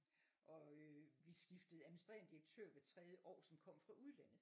Og øh vi skiftede administrende direktør hvert tredje år som kom fra udlandet